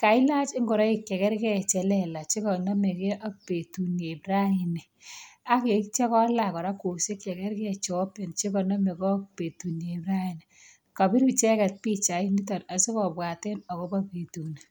Kailach ingoroik che kerge che lelach che konomege ak betunieb raini ak kitya kolach kora kwosiek chekerge che konomege ak betutab raini. Kapir icheget pichaini asigobwaten agobo betuni.